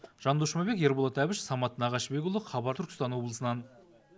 жандос жұмабек ерболат әбіш самат нағашыбекұлы хабар түркістан облысынан